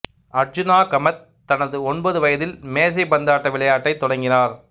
அர்ச்சனா கமத் தனது ஒன்பது வயதில் மேசை பந்தாட்ட விளையாட்டை தொடங்கினார்